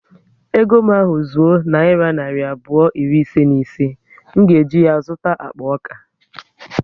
Ego m ahu zuo nayira narị abụọ iri ise na ise, m ga eji ya zụta akpa ọka